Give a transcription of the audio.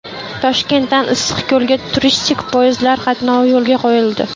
Toshkentdan Issiqko‘lga turistik poyezdlar qatnovi yo‘lga qo‘yildi.